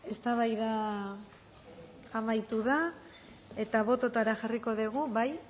eztabaida amaitu da eta bototara jarriko dugu bai